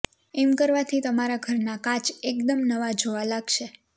એમ કરવાથી તમારા ઘરના કાચ એકદમ નવા જોવા લાગશે